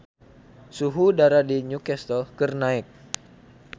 Suhu udara di Newcastle keur naek